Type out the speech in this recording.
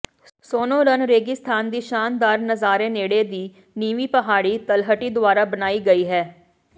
Sonoran ਰੇਗਿਸਤਾਨ ਦੀ ਸ਼ਾਨਦਾਰ ਨਜ਼ਾਰੇ ਨੇੜੇ ਦੀ ਨੀਵੀਂ ਪਹਾੜੀ ਤਲਹਟੀ ਦੁਆਰਾ ਬਣਾਈ ਗਈ ਹੈ